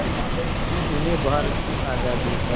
कि उन्हें भारत की आज़ादी का